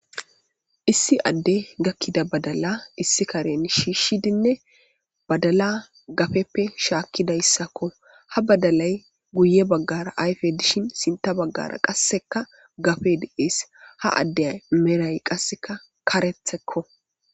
issi adde gakkida badala issi karen shiishidinne badala gafeppe shaakkidayssakko ha badalay guye baggara ayfe dishin sinta baggara qasseka gafe diees ha addey meray qasseka karethekko